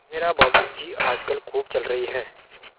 मेहरा बाबू की आजकल खूब चल रही है